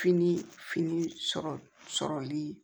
Fini fini sɔrɔli